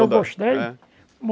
Se eu gostei? É